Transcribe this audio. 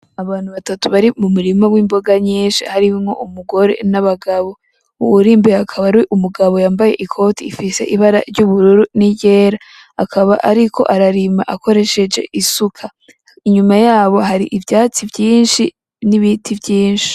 Abantu batatu bari mu murima w'imboga nyinshi harimwo umugore nabagabo, uwuri imbere akaba ar'umugabo yambaye ikoti rifise ibara ry'ubururu ni ryera akaba ariko ararima akoresheje isuka inyuma yabo hari ivyatsi vyinshi n'biti vyinshi.